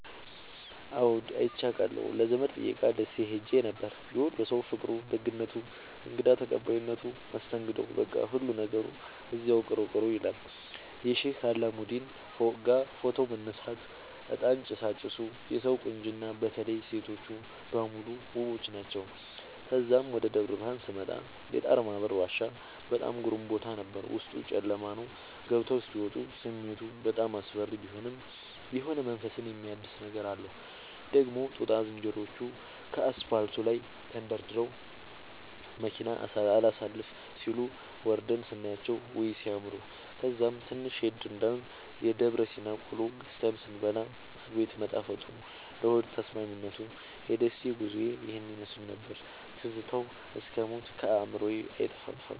አዎድ አይቼ አቃለሁ ለዘመድ ጥየቃ ደሴ ኸሄ ነበር። የወሎ ሠዉ ፍቅሩ፣ ደግነቱ፣ እንግዳ ተቀባይነቱ መስተንግዶዉ በቃ ሁሉ ነገሩ እዚያዉ ቅሩ ቅሩ ይላል። የሼህ አላሙዲን ፎቅጋ ፎቶ መነሳት፤ እጣን ጭሣጭሡ የሠዉ ቁንጅና በተለይ ሤቶቹ በሙሉ ዉቦች ናቸዉ። ተዛም ወደ ደብረብርሀን ስመጣ የጣርማበር ዋሻ በጣም ግሩም ቦታ ነበር፤ ዉስጡ ጨለማ ነዉ ገብተዉ እስኪ ወጡ ስሜቱ በጣም አስፈሪ ቢሆንም የሆነ መንፈስን የሚያድስ ነገር አለዉ። ደግሞ ጦጣ ዝንሮዎቹ ከአስፓልቱ ላይ ተደርድረዉ መኪና አላሣልፍም ሢሉ፤ ወርደን ስናያቸዉ ዉይ! ሢያምሩ። ከዛም ትንሽ ሄድ እንዳልን የደብረሲና ቆሎ ገዝተን ስንበላ አቤት መጣፈጡ ለሆድ ተስማሚነቱ። የደሴ ጉዞዬ ይህን ይመሥል ነበር። ትዝታዉ እስክ ሞት ከአዕምሮየ አይጠፋም።